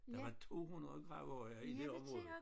Der var 200 gravhøje i det område